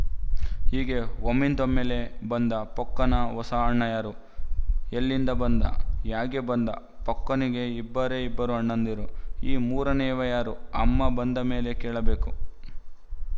ಹೀಗೆ ಒಮ್ಮಿಂದೊಮ್ಮೆಲೇ ಬಂದ ಪೊಕ್ಕನ ಹೊಸ ಅಣ್ಣ ಯಾರು ಎಲ್ಲಿಂದ ಬಂದ ಹ್ಯಾಗೆ ಬಂದ ಪೊಕ್ಕನಿಗೆ ಇಬ್ಬರೇ ಇಬ್ಬರು ಅಣ್ಣಂದಿರು ಈ ಮೂರನೆಯವ ಯಾರು ಅಮ್ಮ ಬಂದ ಮೇಲೆ ಕೇಳಬೇಕು